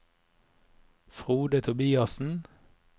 Frode Tobiassen